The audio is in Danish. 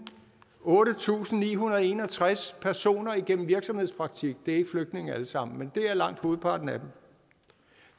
otte tusind ni hundrede og en og tres personer igennem virksomhedspraktik det er ikke flygtninge alle sammen men det er langt hovedparten af dem